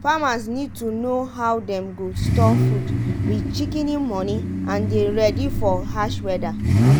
farmers need to know how dem go store food wit shikini moni and dey ready for hash weda.